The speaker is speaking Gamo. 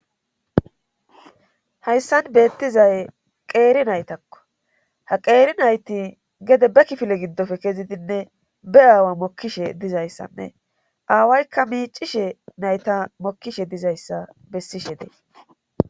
Hayssan beettizay qeeri naytakko ha qeeri nayti gede be kifile giddofe kezidinne be aawa mokkishe dizayssanne aawaykka miicishe nayta mokkishe dizayssa bessishe dee